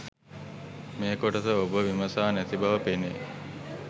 මේ ‍කොටස ඔබ විමසා නැති බව පෙනේ